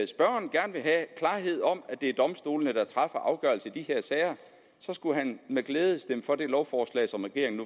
spørgeren gerne vil have klarhed om at det er domstolene der træffer afgørelse i de her sager så skulle han med glæde stemme for det lovforslag som regeringen